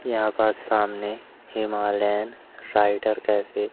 यहां पास सामने हिमालयन राइडर कैफे --